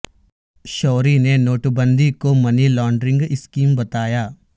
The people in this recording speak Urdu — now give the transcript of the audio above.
شوری نے نوٹ بندی کو منی لانڈرنگ اسکیم بتایا